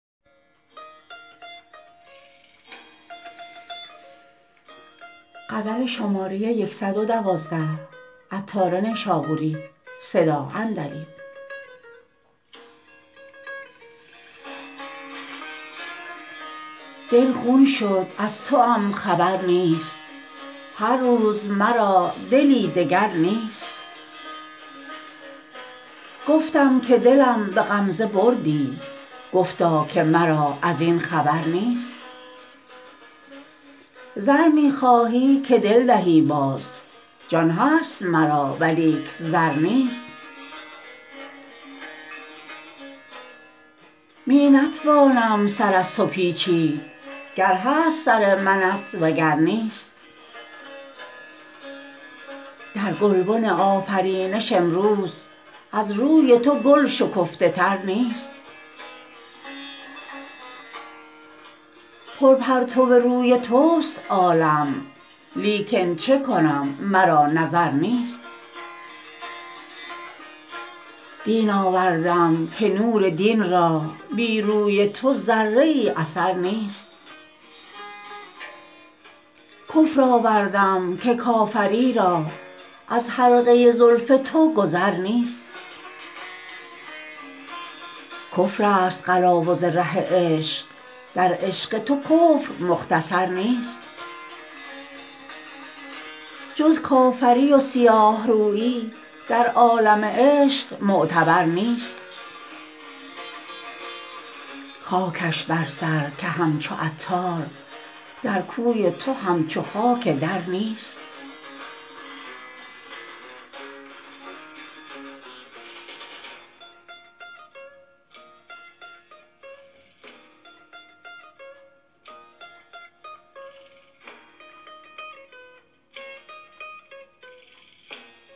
دل خون شد و از توام خبر نیست هر روز مرا دلی دگر نیست گفتم که دلم به غمزه بردی گفتا که مرا ازین خبر نیست زر می خواهی که دل دهی باز جان هست مرا ولیک زر نیست می نتوانم سر از تو پیچید گر هست سر منت وگر نیست در گلبن آفرینش امروز از روی تو گل شکفته تر نیست پر پرتو روی توست عالم لیکن چکنم مرا نظر نیست دین آوردم که نور دین را بی روی تو ذره ای اثر نیست کفر آوردم که کافری را از حلقه زلف تو گذر نیست کفر است قلاوز ره عشق در عشق تو کفر مختصر نیست جز کافری و سیاه رویی در عالم عشق معتبر نیست خاکش بر سر که همچو عطار در کوی تو همچو خاک در نیست